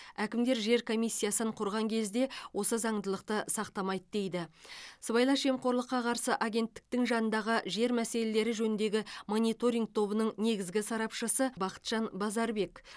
әкімдер жер комиссиясын құрған кезде осы заңдылықты сақтамайды дейді сыбайлас жемқорлыққа қарсы агенттіктің жанындағы жер мәселелері жөніндегі мониторинг тобының негізгі сарапшысы бақытжан базарбек